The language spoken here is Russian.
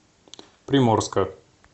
приморска